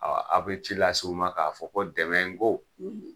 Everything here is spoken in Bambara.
aw be ci lase u ma k'a fɔ ko dɛmɛn ko